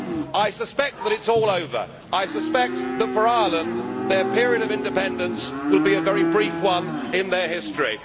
I suspect that it is all over. I suspect that for Ireland, their period of independence will be a very brief one in their history.